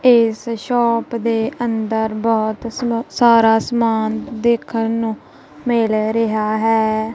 ਇਸ ਸ਼ੋਪ ਦੇ ਅੰਦਰ ਬਹੁਤ ਸਾਰਾ ਸਮਾਨ ਦੇਖਣ ਨੂੰ ਮਿਲ ਰਿਹਾ ਹੈ।